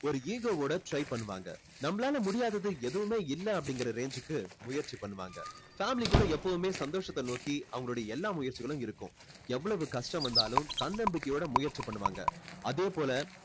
ஒரு ego ஓட try பண்ணுவாங்க நம்மளால முடியாதது எதுவுமே இல்ல அப்படின்ற range கு முயற்சி பண்ணுவாங்க family கூட எப்போவுமே சந்தோஷத்த நோக்கி அவங்களுடைய எல்லா முயற்சிகளும் இருக்கும் எவ்வளவு கஷ்டம் வந்தாலும் தன்னம்பிக்கையோட முயற்சி பண்ணுவாங்க அதே போல